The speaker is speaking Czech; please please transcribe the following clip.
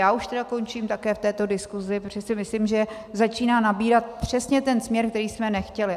Já už tedy končím také v této diskusi, protože si myslím, že začíná nabírat přesně ten směr, který jsme nechtěli.